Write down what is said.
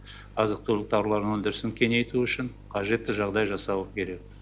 азық түлік тауарларының өндірісін кеңейту үшін қажетті жағдай жасауы керек